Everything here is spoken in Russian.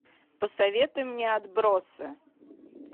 посоветуй мне отбросы